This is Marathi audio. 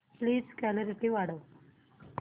प्लीज क्ल्यारीटी वाढव